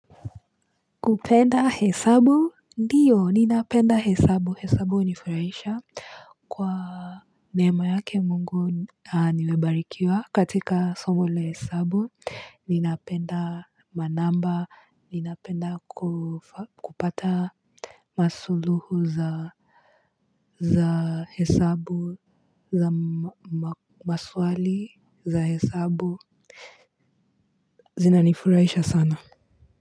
Kupenda hesabu? Ndiyo, ninapenda hesabu. Hesabu huni furahisha kwa neema yake mungu nimebarikiwa katika somo la hesabu. Ninapenda manamba. Ninapenda kupata masuluhu za hesabu, za maswali, za hesabu. Zinanifurahisha sana.